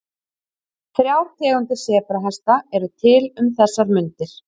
Þrjár tegundir sebrahesta eru til um þessar mundir.